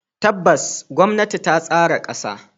Tabbas, gwamnati ta tsara kasa.